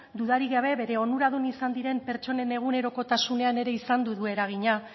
dudarik gabe bere onuradun izan diren pertsonen egunerokotasunean ere izan du eragina